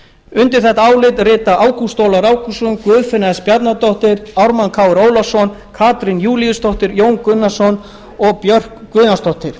undir þetta álit rita ágúst ólafur ágústsson guðfinna s bjarnadóttir ármann krónu ólafsson katrín júlíusdóttir jón gunnarsson og björk guðjónsdóttir